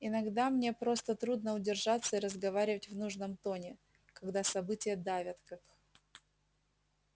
иногда мне просто трудно удержаться и разговаривать в нужном тоне когда события давят как